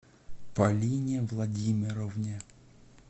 полине владимировне